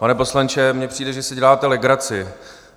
Pane poslanče, mně přijde, že si děláte legraci.